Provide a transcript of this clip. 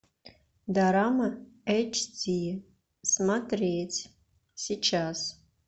дорама эйч ди смотреть сейчас